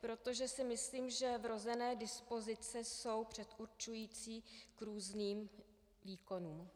protože si myslím, že vrozené dispozice jsou předurčující k různým výkonům.